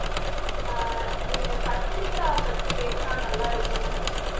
ஆஹ் நீங்க கத்திரிக்காய் பத்தி பேசுனா நல்லா இருக்கும்னு நான் நினை